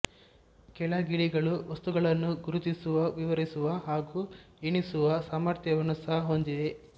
ಕೆಲ ಗಿಳಿಗಳು ವಸ್ತುಗಳನ್ನು ಗುರುತಿಸುವ ವಿವರಿಸುವ ಹಾಗೂ ಎಣಿಸುವ ಸಾಮರ್ಥ್ಯವನ್ನು ಸಹ ಹೊಂದಿವೆ